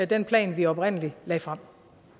den plan vi oprindelig lagde frem